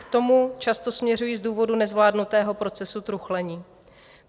K tomu často směřují z důvodu nezvládnutého procesu truchlení.